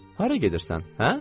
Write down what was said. Hara gedirsən, hə?